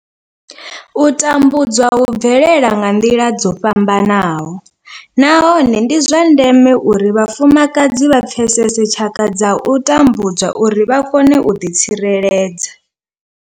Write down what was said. U tambudzwa hu bvelela nga nḓila dzo fhambanaho nahone ndi zwa ndeme uri vhafumakadzi vha pfesese tshaka dza u tambudzwa uri vha kone u ḓi tsireledza.